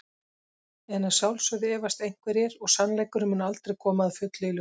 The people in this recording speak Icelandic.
En að sjálfsögðu efast einhverjir og sannleikurinn mun aldrei koma að fullu í ljós.